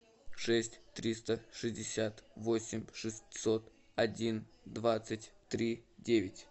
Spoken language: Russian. шесть триста шестьдесят восемь шестьсот один двадцать три девять